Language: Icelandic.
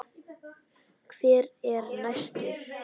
Hver er næstur?